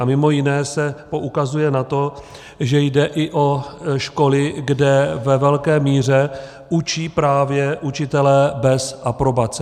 A mimo jiné se poukazuje na to, že jde i o školy, kde ve velké míře učí právě učitelé bez aprobace.